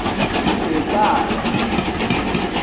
ecala